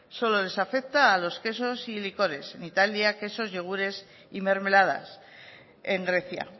solo les afecta a los quesos y licores en italia quesos yogures y mermeladas en grecia